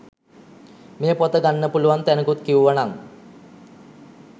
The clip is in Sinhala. මේ පොත ගන්න පුලුවන් තැනකුත් කිව්වනං